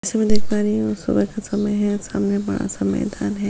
जैसा की मै देख पा रही हु सुबह का समय है सामने बड़ा सा मैदान है।